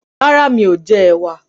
Rárá, mí ò jẹ ẹ̀wà.